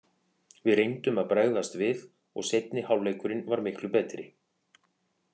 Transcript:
Við reyndum að bregðast við og seinni hálfleikurinn var miklu betri.